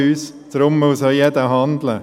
Deshalb muss auch jeder handeln.